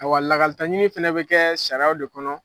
Awa lakalita ɲini fana bɛ kɛ sariyaw de kɔnɔ.